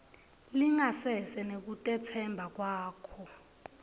lingasese nekutetsemba kwakho